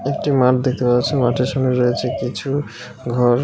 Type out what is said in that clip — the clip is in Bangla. একটি মাঠ দেখতে পাচ্ছি মাঠের সঙ্গে রয়েছে কিছু ঘর .